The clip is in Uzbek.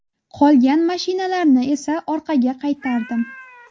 Qolgan mashinalarni esa orqaga qaytardim.